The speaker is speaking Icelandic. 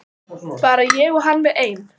Bara ég og hann við ein.